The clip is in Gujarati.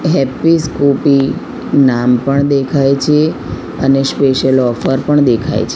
હેપ્પી સ્ફુપી નામ પણ દેખાય છે અને સ્પેશ્યલ ઓફર પણ દેખાય છ--